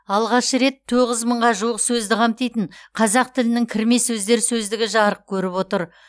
алғаш рет тоғыз мыңға жуық сөзді қамтитын қазақ тілінің кірме сөздер сөздігі жарық көріп отыр